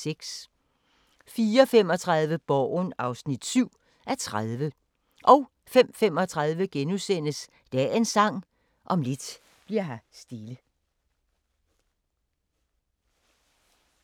04:35: Borgen (7:30) 05:35: Dagens Sang: Om lidt bli'r her stille *